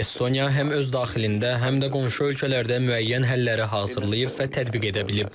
Estoniya həm öz daxilində, həm də qonşu ölkələrdə müəyyən həlləri hazırlayıb və tətbiq edə bilib.